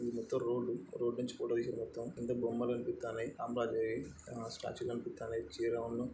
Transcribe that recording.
ఇది మొత్తమ్ road. Road చివరలో ఇది మొత్తమ్ అంటే బొమ్మలు కనిపిస్తన్నాయి. అమ్మాయిలాగా స్టాచ్యూ కనిపిస్తన్నాయి. చీరు --